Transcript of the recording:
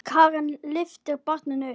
Karen lyftir barninu upp.